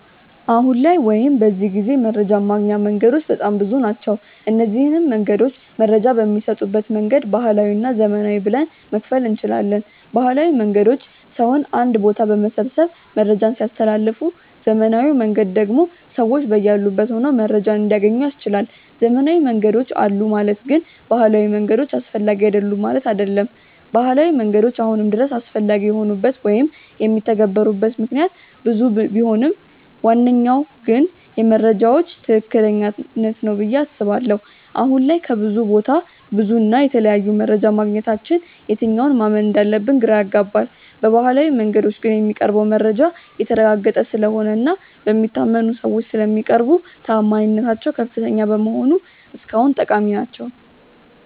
አሁን ላይ ወይም በዚህ ጊዜ መረጃን ማግኛ መንገዶች በጣም ብዙ ናቸው። እነዚንም መንገዶች መረጃ በሚሰጡበት መንገድ ባህላዊ እና ዘመናዊ ብለን መክፈል እንችላለን። ባህላዊ መንገዶች ሰውን አንድ ቦታ በመሰብሰብ መረጃን ሲያስተላልፉ ዘመናዊው መንገድ ደግሞ ሰዎች በያሉበት ሆነው መረጃን እንዲያገኙ ያስችላል። ዘመናዊ መንገዶች አሉ ማለት ግን ባህላዊ መንገዶች አስፈላጊ አይደሉም ማለት አይደለም። ባህላዊ መንገዶች አሁንም ድረስ አስፈላጊ የሆኑበት ወይም የሚተገበሩበት ምክንያት ብዙ ቢሆንም ዋነኛው ግን የመረጃዎች ትክክለኛነት ነው ብዬ አስባለሁ። አሁን ላይ ከብዙ ቦታ ብዙ እና የተለያየ መረጃ ማግኘታችን የትኛውን ማመን እንዳለብን ግራ ያጋባል። በባህላዊው መንገዶች ግን የሚቀርበው መረጃ የተረጋገጠ ስለሆነ እና በሚታመኑ ሰዎች ስለሚቀርቡ ተአማኒነታቸው ከፍተኛ በመሆኑ እስካሁን ጠቃሚ ናቸው።